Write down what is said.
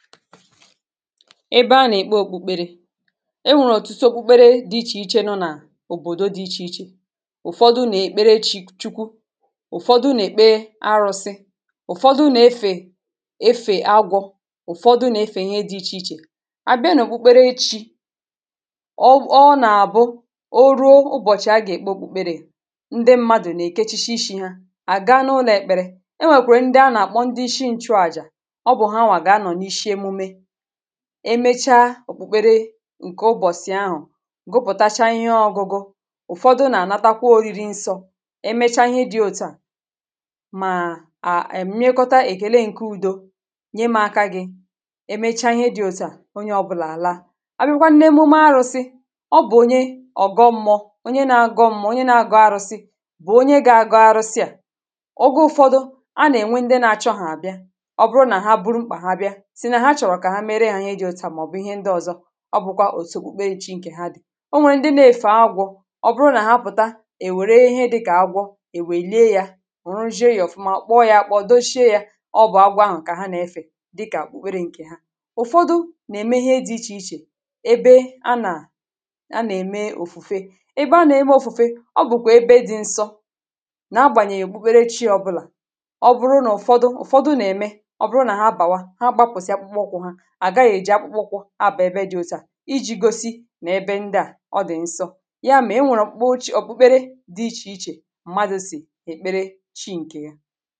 ebe a na-èkpe òkpùkpere e nwèrè òtùtù òkpùkpere dị ichè ichè nọ nà òbòdò dị ichè ichè ụ̀fọdụ nà-èkpere chukwu ụ̀fọdụ nà-èkpe arọ̇sị ụ̀fọdụ nà-efè efè agwọ̇ ụ̀fọdụ nà-efè ihe dị ichè ichè abịa nà òkpùkpere echi̇ ọ ọ nà-àbụ o ruo ụbọ̀chị̀ a gà-èkpe òkpùkpere ndị mmadụ̀ nà-èke chishi ishi̇ ha à ga n’ụlọ̀ èkpere e nwèkwèrè ndị a nà-àkpọ ndị ishi̇ ǹchụọ̇ àjà emecha òkpukpere ǹkè ụbọ̀sị̀ ahụ̀ gụpụ̀tacha ihe ọgụgụ ụ̀fọdụ nà-ànatakwa oriri nsọ̇ emechaa ihe dị̇ ote à màà è mịekọta èkèle nke udo nye mȧ aka gị emechaa ihe dị̇ òtù à onye ọbụlà àla àbịrịkwanụ nà emume arụ̇sị̇ ọ bụ̀ onye ọ̀gọ̇ mmụọ onye na-agọ̇ mmụọ onye na-agọ̇ arụ̇sị̇ bụ̀ onye ga-agọ̇ arụ̇sị à ọ gụ ụ̀fọdụ a nà-enwe ndị nȧ chọ̇hà àbịa ọ bụrụ nà ha buru mkpà ha bịa ọ bụ̀ ihe ndị ọ̀zọ ọ bụ̀kwa òtù okpukpere chi ǹkè ha dị̀ o nwèrè ndị na-èfè agwọ̇ ọ bụrụ nà ha pụ̀ta è wère ihe dịkà agwọ è wèlie yȧ rùjie yȧ ọ̀fụma kpọọ yȧ akpọọ, doshie yȧ ọ bụ̀ agwọ ahụ̀ kà ha nà-efè dịkà kpụkpere ǹkè ha ụ̀fọdụ nà-ème ihe dị ichè ichè ebe a nà a nà-ème òfùfe ebe a nà-eme ọfùfe ọ bụ̀kwà ebe dị̇ nsọ nà agbànyèghị̀ èkpụkpere chi ọ bụlà ọ bụrụ nà ụ̀fọdụ ụ̀fọdụ nà-ème ọ bụrụ nà ha bàwa iji̇ gosi nà ebe ndị à ọ dị̀ nsọ̇ yà mà e nwèrè m̀kpè ochị ọ̀pụkpere dị ichè ichè m̀madụ̇ sì èkpere chi ǹkè yà